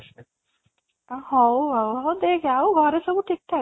ଅଂ ହଉ ଆଉ ହଉ ଦେଖ ଆଉ ଘରେ ସବୁ ଠିକ ଠାକ?